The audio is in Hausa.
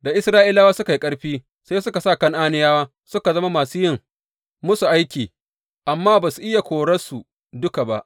Da Isra’ilawa suka yi ƙarfi, sai suka sa Kan’aniyawa suka zama masu yin musu aiki, amma ba su iya korarsu duka ba.